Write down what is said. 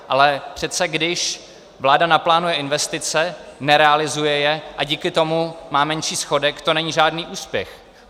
Ale přece když vláda naplánuje investice, nerealizuje je a díky tomu má menší schodek, to není žádný úspěch.